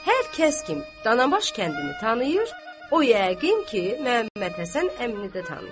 Hər kəs kim Danabaş kəndini tanıyır, o yəqin ki, Məhəmmədhəsən əmini də tanıyır.